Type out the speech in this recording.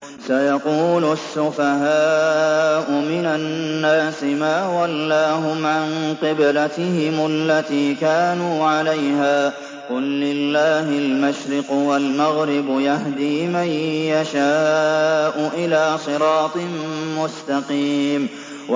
۞ سَيَقُولُ السُّفَهَاءُ مِنَ النَّاسِ مَا وَلَّاهُمْ عَن قِبْلَتِهِمُ الَّتِي كَانُوا عَلَيْهَا ۚ قُل لِّلَّهِ الْمَشْرِقُ وَالْمَغْرِبُ ۚ يَهْدِي مَن يَشَاءُ إِلَىٰ صِرَاطٍ مُّسْتَقِيمٍ